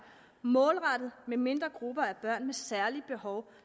målrettet med mindre grupper af børn med særlige behov